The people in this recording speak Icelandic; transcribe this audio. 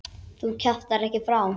Þú kjaftar ekki frá!